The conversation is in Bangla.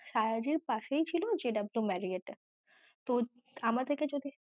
শায়াজির পাশেই ছিল JW MARRIOT এ তো আমাদের কে যদি